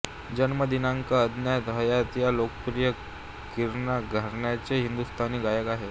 जन्मदिनांक अज्ञात हयात या लोकप्रिय किराणा घराण्याचे हिंदुस्तानी गायक आहेत